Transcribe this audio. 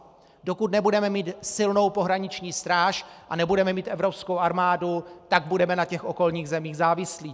Dokud nebudeme mít silnou pohraniční stráž a nebudeme mít evropskou armádu, tak budeme na těch okolních zemích závislí.